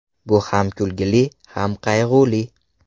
Bu ham kulgili, ham qayg‘uli.